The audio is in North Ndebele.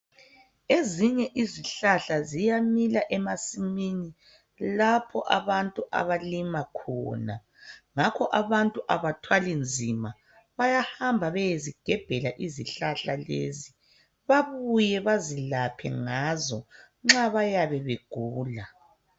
Ezinye izihlahla ziyamila emasimini lapho abantu abalima khona ngakho abantu abathwali nzima sebengahamba beyezigebhela izihlahla lezi bebuye bezelaphe ngazo nxa bayabe begula.